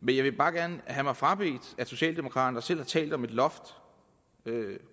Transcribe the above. men jeg vil bare gerne have mig frabedt at socialdemokraterne der selv har talt om et loft